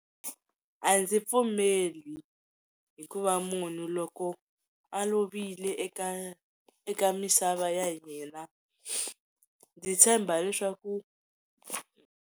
A ndzi pfumeli hikuva munhu loko a lovile eka eka misava ya hina ndzi tshemba leswaku.